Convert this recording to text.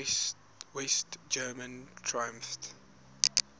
west germans triumphed